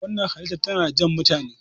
wannan helitar tana Jan mutane